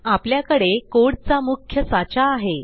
आपल्याकडे कोड चा मुख्य साचा आहे